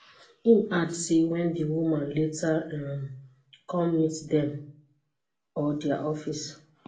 im add say wen di woman later um come meet dem or dia office